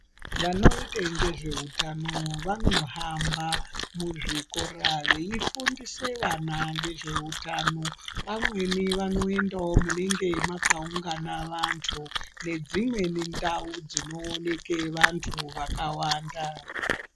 Vanoite ngezveutano vanohamba muzvikora veifundise vana ngezveutano pamweni vanoendawo munenge mwakaungane vanthu nedzimweni ndau dzinooneke anthu akawanda.